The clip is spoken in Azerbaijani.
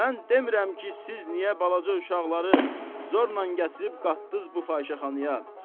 Mən demirəm ki, siz niyə balaca uşaqları zorla gətirib qatdınız bu fahişəxanaya.